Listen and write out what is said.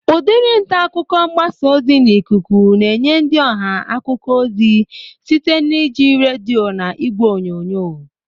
Udiri ntaakụkọ mgbasa ozi n'ikuku na-enye ndị ọha akụkọ ozi site na iji redio na ìgwè onyonyo